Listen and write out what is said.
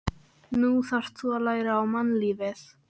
Nú þarftu að læra á mannlífið.